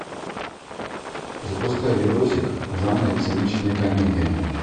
запускай видосик в жанре циничная комедия